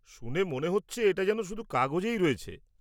শুনে মনে হচ্ছে এটা যেন শুধু কাগজেই রয়েছে।